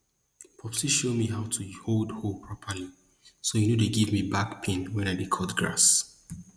popsi show me show me how to hold hoe properly so e no dey give me back pain when i dey cut grass